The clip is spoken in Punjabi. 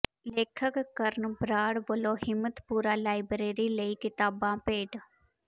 ਲੇਖਕ ਕਰਨ ਬਰਾੜ ਵੱਲੋਂ ਹਿੰਮਤਪੁਰਾ ਲਾਇਬਰੇਰੀ ਲਈ ਕਿਤਾਬਾਂ ਭੇਂਟ